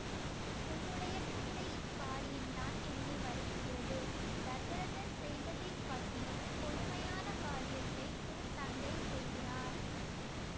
உன்னுடைய தந்தையின் காரியந்தான் என்னை வருத்துகிறது தசரதர் செய்ததைக் காட்டிலும் கொடுமையான காரியத்தை உன் தந்தை செய்கிறார்